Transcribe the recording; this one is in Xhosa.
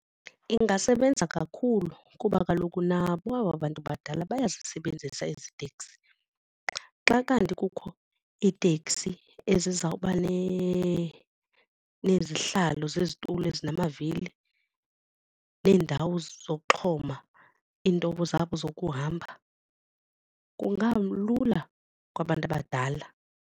Ingasebenza kakhulu kuba kaloku nabo aba bantu badala bayazisebenzisa ezi teksi. Xa kanti kukho iitekisi eziza kuba nezihlalo zezitulo ezinamavili neendawo zokuxhoma iintoba zabo zokuhamba kungalula kwabantu abadala.